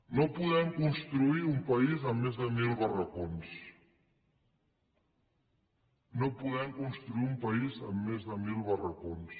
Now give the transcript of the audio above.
no podem construir un país amb més de mil barracons no podem construir un país amb més de mil barracons